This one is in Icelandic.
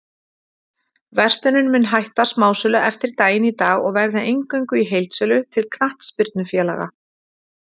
Verslunin mun hætta smásölu eftir daginn í dag og verða eingöngu í heildsölu til knattspyrnufélaga.